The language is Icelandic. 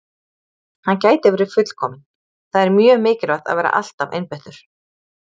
Hann gæti verið fullkominn- það er mjög mikilvægt að vera alltaf einbeittur.